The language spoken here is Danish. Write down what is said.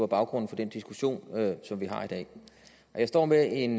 baggrunden for den diskussion som vi har i dag jeg står med en